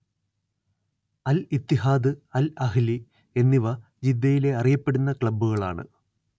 അൽ Ittihad Al Ahli എന്നിവ ജിദ്ദയിലെ അറിയപ്പെടുന്ന ക്ലബ്ബുകളാണ്